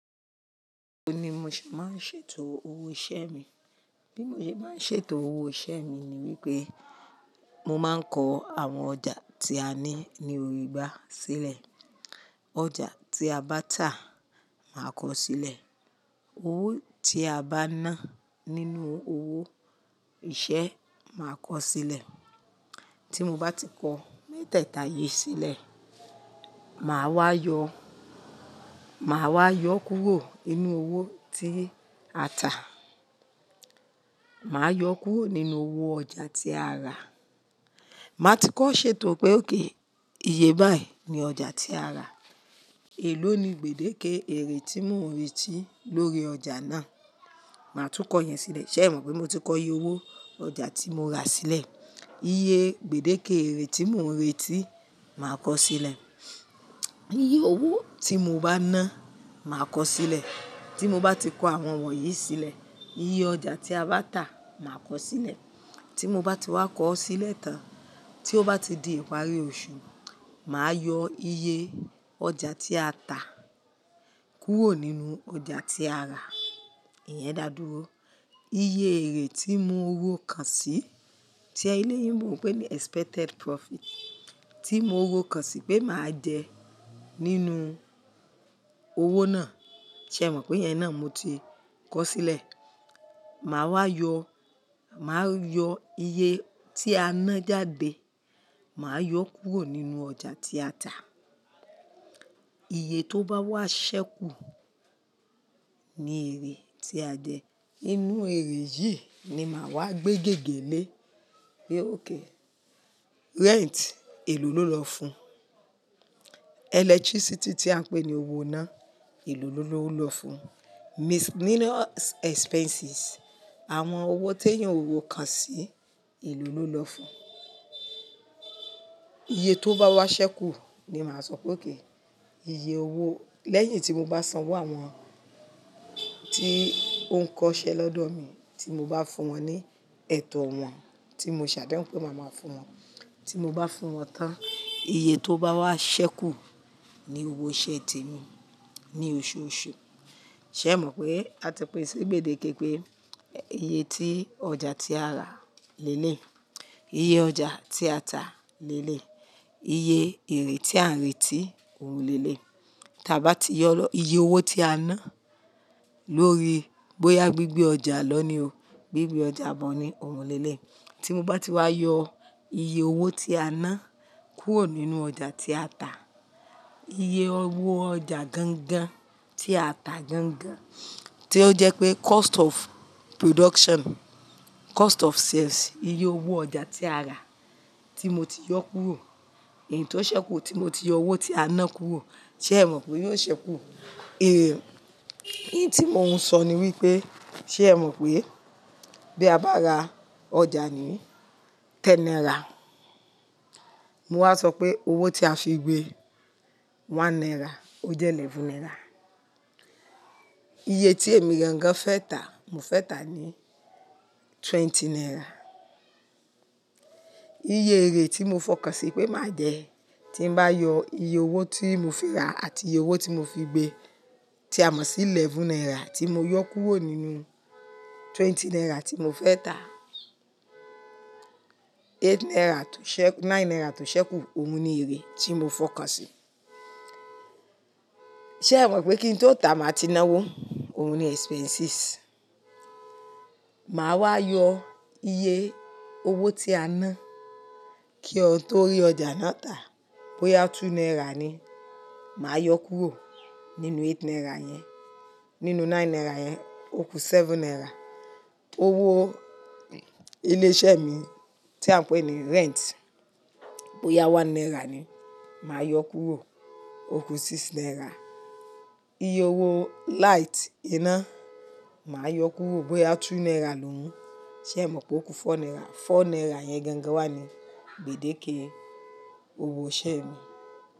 O ni bi mo ṣe máa ń ṣètò owó iṣẹ́ mi. Bí mo ṣe máa ń ṣètò owó iṣẹ́ mi ni wípé mo máa ń kọ àwọn ọjà tí a ní ní òrìgbà sílẹ̀. Ọjà tí a bá tà, màá kọ sílẹ̀. Owó tí a bá ná nínú owó iṣẹ́, màá kọ sílẹ̀. Tí mo bá ti kọ mẹ́tẹ̀ẹ̀ta yìí sílẹ̀, màá wá yọ, màá wá yọ kúrò nínú owó tí a tà. Màá yọ kúrò nínú owó ọjà tí a rà. Màá ti kọ ṣètò pé óké iye báyìí ni ọjà tí a rà. Èló ni gbèdéke èrè tí mò ń retí lórí ọjà náà? Màá tún kọ yẹn sílẹ̀. Ṣé ẹ̀ mọ̀ pé mo ti kọ iye owó ọjà tí mo ra sílẹ̀? Iye gbèdéke èrè tí mò ń retí, màá kọ sílẹ̀. Iye owó tí mo bá ná, màá kọ sílẹ̀. Tí mo bá ti kọ àwọn wọ̀nyí sílẹ̀, iye ọjà tí a bá tà, màá kọ sílẹ̀. Tí mo bá ti wá kọ ọ́ sílẹ̀ tán, tí ó bá ti di ìparí oṣù, màá yọ iye ọjà tí a tà kúrò nínú ọjà tí a rà. Ìyẹn dá dúró. Iye èrè tí mo ro kan sí, tí ẹlẹ́yìí mò ń pè ní expected profit, tí mo ro kan sí pé màá jẹ nínú owó náà. Ṣé ẹ̀ mọ̀ pé yẹn náà mo ti kọ sílẹ̀? Màá wá yọ, màá yọ iye tí a ná jáde, màá yọ kúrò nínú ọjà tí a tà. Iye tó bá wá ṣẹ́kù ni èrè tí a jẹ. Nínú èrè yìí ni màá wá gbé gègé lé pé óké rent, èlò ló lọ fún? Electricity tí à ń pè ní owó ná, èlò ló lọ fún? Miscellaneous expenses, àwọn owó tí èeyan ò ro kan sí, èlò ló lọ fún? Iye tó bá wá ṣẹ́kù ni màá sọ pé óké iye owó lẹ́yìn tí mo bá sanwó àwọn tí ó ń kọ iṣẹ́ lọ́dọ̀ mi, tí mo bá fún wọn ní ẹ̀tọ́ wọn tí mo ṣàdéhùn pé màá máa fún wọn. Tí mo bá fún wọn tán, iye tó bá wá ṣẹ́kù ni owó iṣẹ́ tèmi ní oṣooṣù. Ṣé ẹ̀ mọ̀ pé a ti pín sí gbèdéke pé iye tí ọjà tí a rà lé lé, iye ọjà tí a tà lé lé, iye èrè tí à ń retí ò lé lé. Tí a bá ti yọ iye owó tí a ná lórí bóyá gbígbé ọjà lọ ní o, gbígbé ọjà bọ̀ ni òun lé lé. Tí mo bá ti wá yọ iye owó tí a ná kúrò nínú ọjà tí a tà, iye owó ọjà gangan tí a tà gangan tí ó jẹ́ pé cost of production, cost of sales, iye owó ọjà tí a rà tí mo ti yọ kúrò, èyí tó ṣẹ́kù tí mo ti yọ owó tí a ná kúrò. Ṣé ẹ̀ mọ̀ pé ó ṣẹ́kù? È e tí mò ń sọ ni wípé ṣé ẹ̀ mọ̀ pé bí a bá ra ọjà ni tẹn náírà, mo wá sọ pé owó tí a fi gbé, one náírà, ó jẹ́ eleven náírà. Iye tí èmi gangan fẹ́ tà, mo fẹ́ tà ní twenty náírà. Iye èrè tí mo fọkàn sí pé màá jẹ, tí n bá yọ iye owó tí mò ń fi ra àti iye owó tí mo fi gbé tí a mọ̀ sí ẹlẹ́wọ̀n náírà tí mo yọ kúrò nínú twenty náírà tí mo fẹ́ tà, eight náírà tún ṣẹ́, nine náírà tún ṣẹ́kù, òun ni èrè tí mo fọkàn sí. Ṣé ẹ̀ mọ̀ pé kí n tó tà, màá ti ná owó? Òun ni expenses. Màá wá yọ iye owó tí a ná kí ohun tó rí ọjà náà tà. Bóyá two náírà ni, màá yọ kúrò nínú eight náírà yẹn, nínú nine náírà yẹn, ó ku seven náírà. Owó ilé iṣẹ́ mi tí à ń pè ní rent, bóyá one náírà ni, màá yọ kúrò, ó ku six náírà. Iye owó light iná, màá yọ kúrò bóyá two náírà lòún, ṣé ẹ̀ mọ̀ pé ó ku four náírà. Four náírà yẹn gangan wà ní gbèdéke owó iṣẹ́ mi.